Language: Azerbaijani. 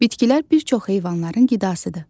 Bitkilər bir çox heyvanların qidasıdır.